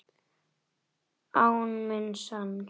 Á minn sann!